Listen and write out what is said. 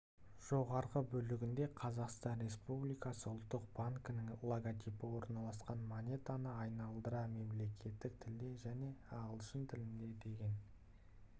жоғарғы бөлігінде қазақстан республикасы ұлттық банкінің логотипі орналасқан монетаны айналдыра мемлекеттік тілде және ағылшын тілінде деген